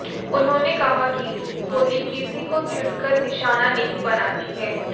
उन्होंने कहा कि गोली किसी को चुनकर निशाना नहीं बनाती है